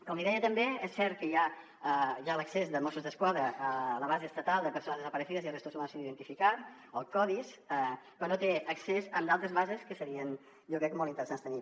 com li deia també és cert que hi ha l’accés de mossos d’esquadra a la base estatal de personas desaparecidas y de restos humanos sin identificar el codis però no té accés a altres bases que serien jo crec molt interessants de tenir